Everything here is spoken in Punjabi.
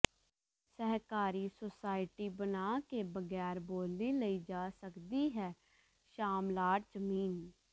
ਸਹਿਕਾਰੀ ਸੁਸਾਇਟੀ ਬਣਾ ਕੇ ਬਗੈਰ ਬੋਲੀ ਲਈ ਜਾ ਸਕਦੀ ਹੈ ਸ਼ਾਮਲਾਟ ਜ਼ਮੀਨ